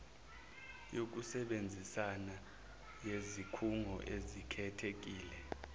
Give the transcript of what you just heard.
yokusebenzisana yezikhungo ezikhethekile